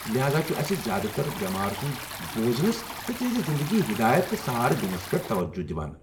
لہاذا چُھ اسہِ زیادٕ تر بٮ۪مار سُند بوزنس تہٕ تہنٛزِ زنٛدگی ہدایت تہٕ سہارٕ دِنس پٮ۪ٹھ توجہ دوان۔